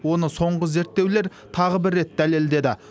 оны соңғы зерттеулер тағы бір рет дәледеді